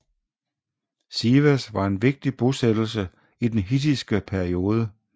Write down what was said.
Sivas var en vigtig bosættelse i den hittiske periode